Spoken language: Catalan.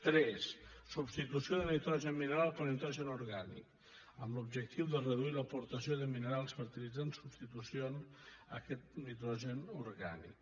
tres substitució de nitrogen mineral per nitrogen orgànic amb l’objectiu de reduir l’aportació de minerals fertilitzants substitució de nitrogen orgànic